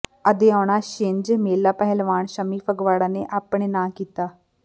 ਆਦੋਆਣਾ ਛਿੰਝ ਮੇਲਾ ਪਹਿਲਵਾਨ ਸ਼ੰਮੀ ਫਗਵਾੜਾ ਨੇ ਆਪਣੇ ਨਾਂਅ ਕੀਤਾ